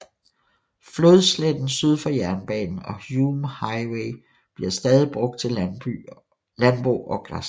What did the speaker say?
Flodsletten syd for jernbanen og Hume Highway bliver stadig brugt til landbrug og græsning